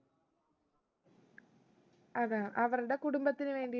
അതാ അവർടെ കുടുംബത്തിന് വേണ്ടി